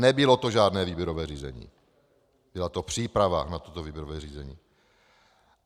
Nebylo to žádné výběrové řízení, byla to příprava na toto výběrové řízení.